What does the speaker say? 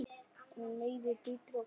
Hún meiðir, bítur og klórar.